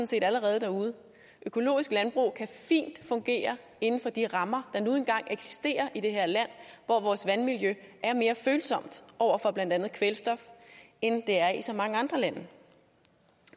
set allerede derude økologisk landbrug kan fint fungere inden for de rammer der nu engang eksisterer i det her land hvor vores vandmiljø er mere følsomt over for blandt andet kvælstof end det er i så mange andre lande